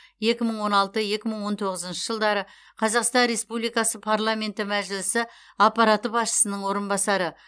екі мың он алты екі мың он тоғызыншы жылдары қазақстан республикасы парламенті мәжілісі аппараты басшысының орынбасары